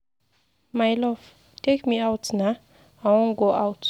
My love take me out naa, I wan go out.